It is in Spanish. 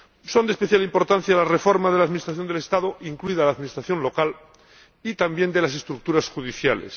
Son de especial importancia la reforma de la administración del Estado, incluida la administración local, y también de las estructuras judiciales.